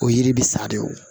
O yiri bɛ sa de o